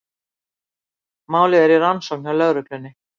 Málið er í rannsókn hjá lögreglunni